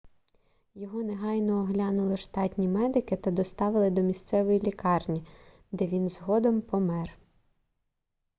його негайно оглянули штатні медики та доставили до місцевої лікарні де він згодом помер